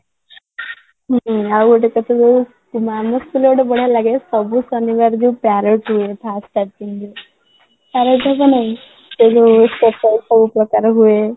ହୁଁ, ଆଉ ଗୋଟେ କଥା ଜାଣିଛୁ କିନ୍ତୁ ଆମ school ରେ ଗୋଟେ ବଢିଆ ଲାଗେ ଶନିବାର ଯୋଉ parrot ହୁଏ first starting ରେ parrot ଜାଣିଛ ନ ନାଇଁ ସେ ଯୋଉ stepwise ସବୁ ପ୍ରକାର ହୁଏ